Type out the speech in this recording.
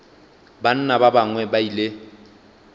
banna ba bangwe ba ile